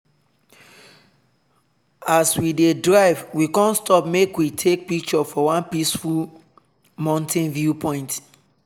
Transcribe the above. as we dey drive we con stop make we take picture for one peaceful mountain viewpoint.